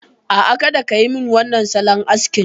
A'a, kada ka yi min wannan salon askin.